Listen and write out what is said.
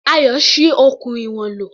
Ayọ̀ ṣi okùn ìwọ̀n lò.